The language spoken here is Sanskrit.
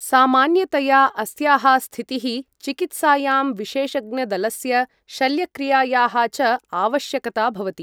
सामान्यतया अस्याः स्थितिः चिकित्सायां विशेषज्ञदलस्य शल्यक्रियायाः च आवश्यकता भवति ।